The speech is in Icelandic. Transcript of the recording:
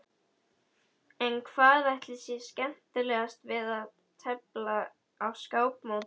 En hvað ætli sé skemmtilegast við að tefla á skákmóti?